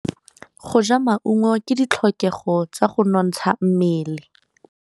Go ja maungo ke ditlhokegô tsa go nontsha mmele.